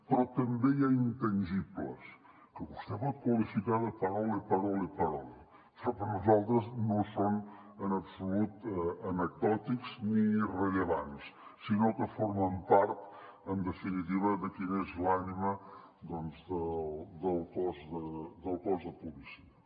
però també hi ha intangibles que vostè pot qualificar de parole parole parole però per nosaltres no són en absolut anecdòtics ni irrellevants sinó que formen part en definitiva de quina és l’ànima del cos de policia